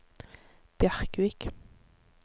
Bjerkvik